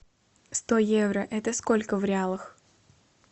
сто евро это сколько в реалах